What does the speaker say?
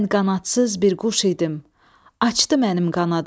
Mən qanadsız bir quş idim, açdı mənim qanadımı.